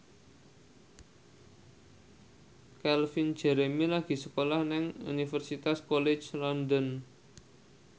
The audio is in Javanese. Calvin Jeremy lagi sekolah nang Universitas College London